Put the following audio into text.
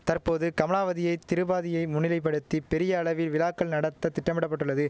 தற்போது கமலாவதியை திரிபாதியை முன்னிலைப்படுத்தி பெரிய அளவில் விழாக்கள் நடத்த திட்டமிட பட்டுள்ளது